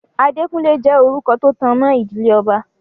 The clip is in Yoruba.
Adékúnlé jẹ́ orúkọ tó tanmọ́ ìdílé ọba.